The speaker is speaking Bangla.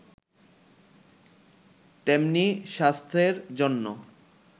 তেমনি স্বাস্থ্যের জন্য